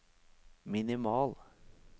minimal